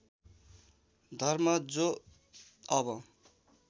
धर्म जो अब